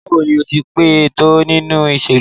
Bawo ni o ti pẹ to ninu iṣelu?